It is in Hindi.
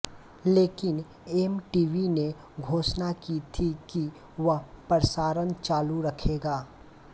लेकिन ऍम टीवी ने घोषणा की थी कि वह प्रसारण चालू रखेगा